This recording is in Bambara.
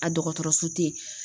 A dɔgɔtɔrɔso teyi.